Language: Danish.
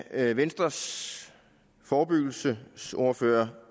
da venstres forebyggelsesordfører